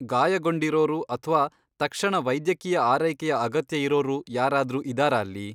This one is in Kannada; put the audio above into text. ಗಾಯಗೊಂಡಿರೋರು ಅಥ್ವಾ ತಕ್ಷಣ ವೈದ್ಯಕೀಯ ಆರೈಕೆಯ ಅಗತ್ಯ ಇರೋರು ಯಾರಾದ್ರೂ ಇದಾರಾ ಅಲ್ಲಿ?